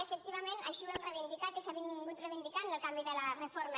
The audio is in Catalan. efectivament així ho hem reivindicat i hem anat reivindicant el canvi de la reforma